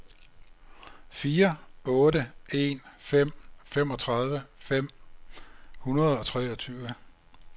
fire otte en fem femogtredive fem hundrede og treogtyve